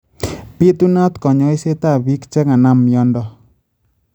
Bitunaat konyoisetab biik che kanam myanto